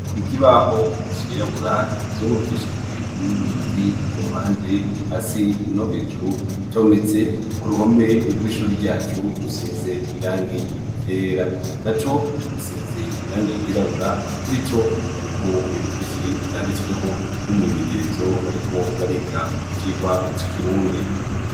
Ikibaho c'irabura kizungurukishijwe n'uduti ku mpande hasi no hejuru, zometse ku ruhome rw'ishure ryacu rusize irangi ryera. Naco gisize irangi ry'irabura kurico hariko ibintu vyinshi vyanditsweho imyimenyerezo bariko bariga icirwa c'ikirundi.